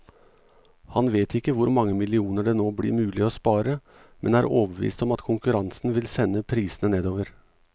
Han vet ikke hvor mange millioner det nå blir mulig å spare, men er overbevist om at konkurransen vil sende prisene nedover.